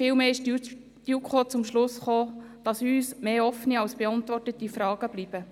Viel mehr kam die JuKo zum Schluss, dass uns mehr offene als beantwortete Fragen bleiben.